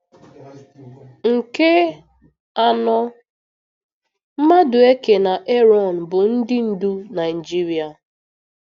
Nke anọ, Madueke na Erọn bụ ndị ndú Naijiria.